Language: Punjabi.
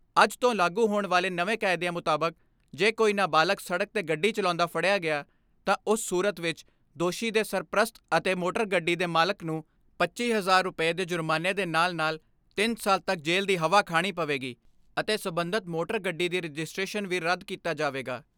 ਅੱਜ ਤੋਂ ਲਾਗੂ ਹੋਣ ਵਾਲੇ ਨਵੇਂ ਕਾਇਦਿਆਂ ਮੁਤਾਬਕ ਜੇ ਕੋਈ ਨਾਬਾਲਗ ਸੜਕ ਤੇ ਗੱਡੀ ਚਲਾਉਂਦਾ ਫੜਿਆ ਗਿਆ ਤਾ ਉਸ ਸੂਰਤ ਵਿਚ ਦੋਸ਼ੀ ਦੇ ਸਰਪ੍ਰਸਤ ਅਤੇ ਮੋਟਰ ਗੱਡੀ ਦੇ ਮਾਲਕ ਨੂੰ ਪੱਚੀ ਹਜਾਰ ਰੁਪੈਆਂ ਦੇ ਜੁਰਮਾਨੇ ਦੇ ਨਾਲ਼ ਨਾਲ਼ ਤਿੰਨ ਸਾਲ ਤੱਕ ਜੇਲ੍ਹ ਦੀ ਹਵਾ ਖਾਣੀ ਪਵੇਗੀ ਅਤੇ ਸਬੰਧਤ ਮੋਟਰ ਗੱਡੀ ਦੀ ਰਜਿਸਟ੍ਰੇਸ਼ਨ ਵੀ ਰੱਦ ਕੀਤਾ ਜਾਵੇਗਾ।